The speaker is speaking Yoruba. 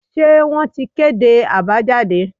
se won tí kedé abajadé